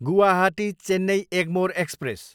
Guwahati, Chennai Egmore express